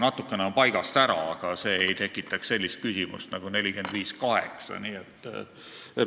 Natukene oleks paigast ära, aga see ei tekitaks niisugust küsimust nagu 45 : 8.